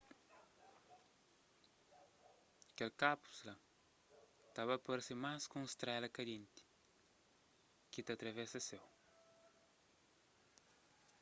kel kápsula ta ba parse más ku un strela kandenti ki ta atravesa séu